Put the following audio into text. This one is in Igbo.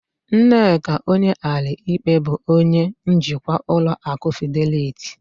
Nneka Onyeali-Ikpe bụ onye njikwa ụlọ akụ Fideliti